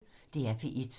DR P1